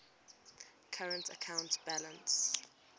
current account balance